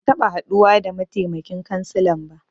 Ban taɓa haduwa da mataimakin kansilan ba.